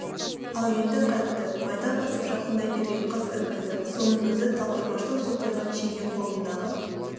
ал енді қайтті майда басып жақындай берген қыз іркілді соның өзі талдырмаштау сопайған шеге қолындағы